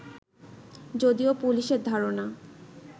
যদিও পুলিশের ধারণা